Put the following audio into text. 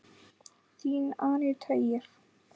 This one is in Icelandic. Þín Aníta Ýr.